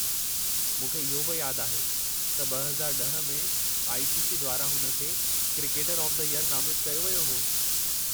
मूंखे इहो बि यादि आहे त 2010 में आई. सी. सी. द्वारां हुन खे 'क्रिकेटर ऑफ द ईयर' नामितु कयो वियो हो।